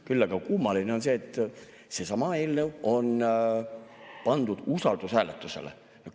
Küll aga kummaline on see, et seesama eelnõu on pandud usaldushääletusele.